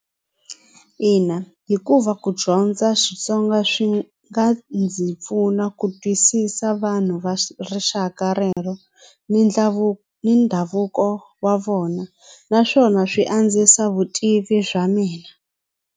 Ina hikuva ku dyondza Xitsonga swi nga ndzi pfuna ku twisisa vanhu va rixaka rero ni ndhavuko wa vona naswona swi andzisa vutivi bya mina.